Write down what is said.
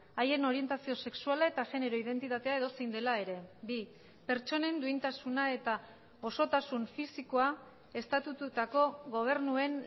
haien orientazio sexuala eta genero identitatea edozein dela ere bi pertsonen duintasuna eta osotasun fisikoa estatututako gobernuen